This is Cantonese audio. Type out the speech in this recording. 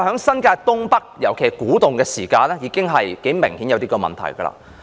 新界東北的發展，明顯已有這樣的問題。